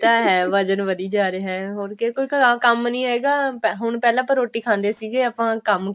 ਇਹ ਤਾਂ ਹੈ ਵਜ਼ਨ ਵਧੀ ਜਾ ਰਿਹਾ ਹੋਰ ਕਿਉਂਕਿ ਘਰਾਂ ਕੋਈ ਕੰਮ ਹੈਗਾ ਹੁਣ ਪਹਿਲਾਂ ਆਪਾਂ ਰੋਟੀ ਖਾਂਦੇ ਸੀਗੇ ਆਪਾਂ ਕੰਮ